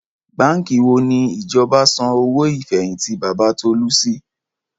Báǹkì wo ni ìjọba san owó ìfẹ̀yìntì Bàbá Tọ́lá sí?